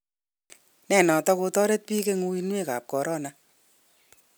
Ne netot kotoret bik eng uinwek kap corona?